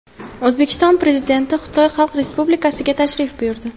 O‘zbekiston Prezidenti Xitoy Xalq Respublikasiga tashrif buyurdi.